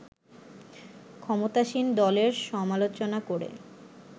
ক্ষমতাসীন দলের সমালোচনা করে